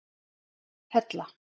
Hella